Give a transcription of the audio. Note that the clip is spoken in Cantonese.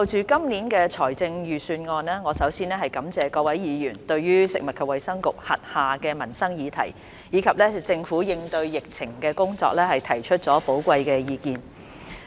主席，就今年的財政預算案，我首先感謝各位議員對食物及衞生局轄下的民生議題，以及政府應對疫情的工作，提出寶貴的意見。